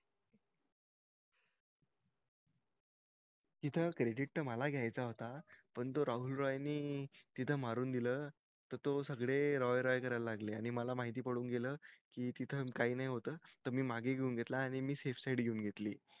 तिथं cricket त मला घायचा होता पण तो राहुल रायनि तिथं मारून दिल त तो सगळे रॉय रॉय करायला लागले आणि मला माहिती पडून गेलं कि तिथे काई नई होत मग मी मागे घेऊन घेतला आणि मी घेऊन घेतली